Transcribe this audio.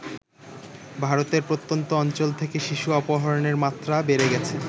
ভারতের প্রত্যন্ত অঞ্চল থেকে শিশু অপহরণের মাত্রা বেড়ে গেছে ।